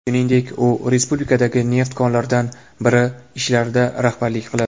Shuningdek, u respublikadagi neft konlaridan biri ishlarida rahbarlik qiladi.